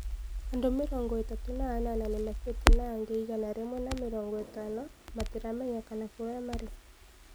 Andũ mĩrongo itatũ na anana nimakuite na angĩ igana rĩmwe na mĩrongo ĩtano matiramenyekana kũria marĩ.